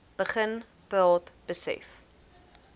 begin praat besef